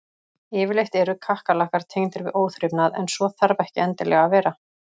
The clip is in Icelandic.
Yfirleitt eru kakkalakkar tengdir við óþrifnað en svo þarf ekki endilega að vera.